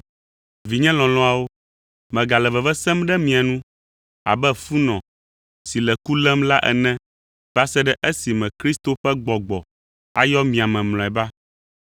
Vinye lɔlɔ̃awo, megale veve sem ɖe mia nu abe funɔ si le ku lém la ene va se ɖe esime Kristo ƒe gbɔgbɔ ayɔ mia me mlɔeba.